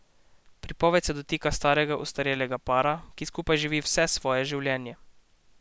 Pripoved se dotika starega ostarelega para, ki skupaj živi vse svoje življenje.